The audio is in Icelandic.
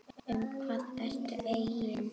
Um hvað ertu eigin